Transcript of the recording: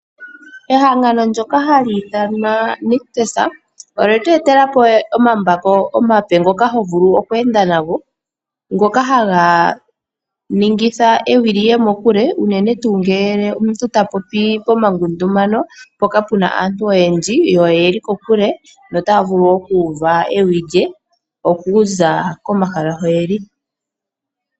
Ehangano lyoka hali ithanwa Nictus olye tu etelapo omambako omape ngoka hovulu oku enda nago. Ngoka haga ningitha ewi liye mokule unene tu ngele omuntu ta popi pomangundumano mpoka puna aantu oyendji yo oyeli kokule notavulu oku uva ewi lye okuza komahala hoyeli.